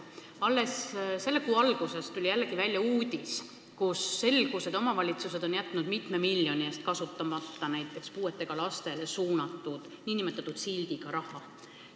Alles selle kuu alguses tuli jälle välja uudis, kust selgus, et omavalitsused on jätnud mitme miljoni eest kasutamata näiteks puuetega lastele suunatud nn sildiga raha.